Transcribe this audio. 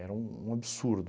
um um absurdo.